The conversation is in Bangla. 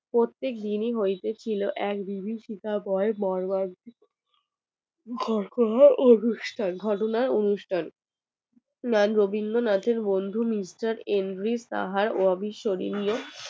রবীন্দ্রনাথের বন্ধু মিস্টার এন্ডগ্রিস রাহা অবিস্মরণীয়